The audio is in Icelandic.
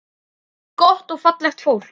Allt gott og fallegt fólk.